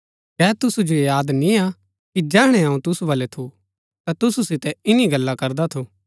कै तुसु जो याद निआं कि जैहणै अऊँ तुसु बल्लै थू ता तुसु सितै इन्‍नी गल्ला करदा थू